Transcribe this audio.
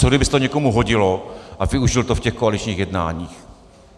Co kdyby se to někomu hodilo a využil to v těch koaličních jednáních?